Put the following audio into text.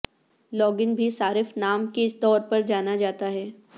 log in بھی صارف نام کے طور پر جانا جاتا ہے